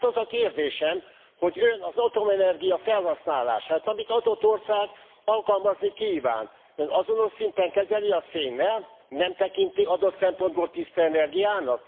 Tehát az a kérdésem, hogy Ön az atomenergia felhasználását, amelyet egy adott ország alkalmazni kíván, azonos szinten kezeli a szénnel? Nem tekinti adott szempontból tiszta energiának?